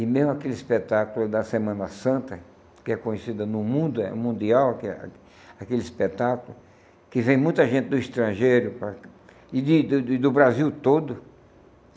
E mesmo aquele espetáculo da Semana Santa, que é conhecida no mundo, é mundial, aquele aquele espetáculo, que vem muita gente do estrangeiro para e de e do Brasil todo.